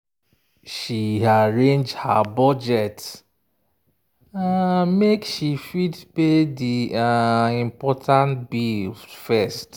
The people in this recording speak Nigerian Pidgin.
she arrange her budget um make she fit pay di um important bills first.